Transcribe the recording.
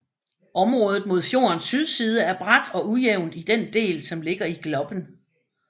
Området mod fjordens sydside er brat og ujævnt i den del som ligger i Gloppen